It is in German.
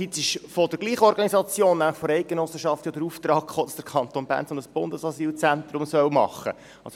Andererseits kam von derselben Organisation, eben von der Eidgenossenschaft, der Auftrag, dass der Kanton Bern ein solches Bundesasylzentrum machen soll.